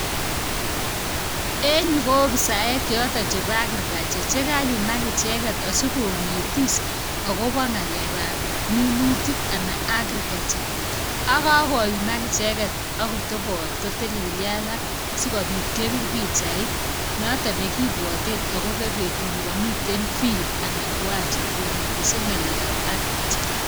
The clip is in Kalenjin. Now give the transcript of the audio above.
En yu ko ofisaek joton chebo agriculture sikonetis akobo ngalekab minutik ana agriculture ak kakoyumak icheket ak kotebot kotelelyo alak sikopit kebir pijait noto nekibwoten agopo betut nekominet field ana kiwancha konetishet ngalekab agriculture.